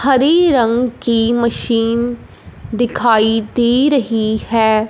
हरे रंग की मशीन दिखाई दे रही है।